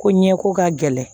Ko ɲɛko ka gɛlɛn